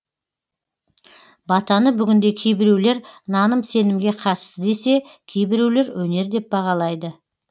батаны бүгінде кейбіреулер наным сенімге қатысты десе кейбіреулер өнер деп бағалайды